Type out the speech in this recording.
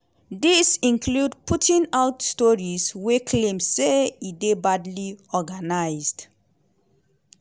dis include putting out stories wey claim say e dey badly organised.